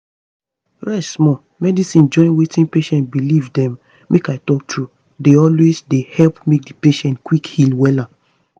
rest small. medicine join wetin patient believe dem make i talk true dey always dey help make patient quick heal wella.